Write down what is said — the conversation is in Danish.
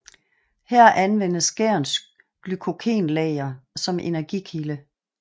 Her anvendes gærens glykogenlager som energikilde